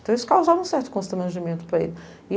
Então isso causava um certo constrangimento para ele.